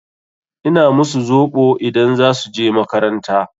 Ina musu zoɓo idan za su je makaranta.